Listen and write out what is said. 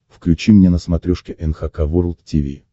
включи мне на смотрешке эн эйч кей волд ти ви